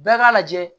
Bɛɛ k'a lajɛ